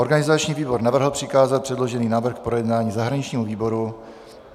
Organizační výbor navrhl přikázat předložený návrh k projednání zahraničnímu výboru.